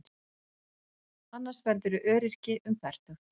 Annars verðurðu öryrki um fertugt.